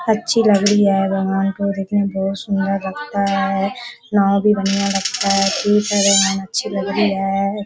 अच्छी लग रही है भागवान को लेकिन बहुत सुंदर लगता हैं नाओ भी बढ़िया लगता है ठीक हैअच्छी लग रही हैं।